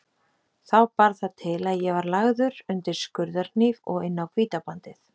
Þá bar það til að ég var lagður undir skurðarhníf og inn á Hvítabandið.